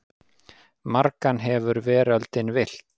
Margan hefur veröldin villt.